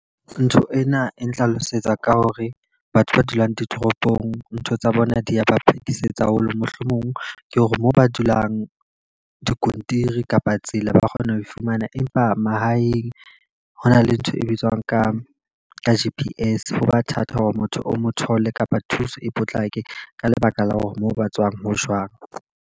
Ntho ena e nhlalosetsa ka hore batho ba dulang ditoropong ntho tsa bona di ya ba phetisetso haholo. Mohlomong ke hore moo ba dulang dikontiri kapa tsela ba kgona ho e fumana. Empa mahaeng ho na le ntho e bitswang ka ka G_P_S, ho ba thata hore motho o mo thole kapa thuso e potlake. Ka lebaka la hore moo ba tswang ho jwang.